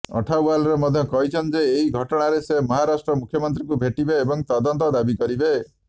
ଅଠାୱାଲେ ମଧ୍ୟ କହିଛନ୍ତି ଯେ ଏହି ଘଟଣାରେ ସେ ମହାରାଷ୍ଟ୍ର ମୁଖ୍ୟମନ୍ତ୍ରୀଙ୍କୁ ଭେଟିବେ ଏବଂ ତଦନ୍ତ ଦାବି କରିବେ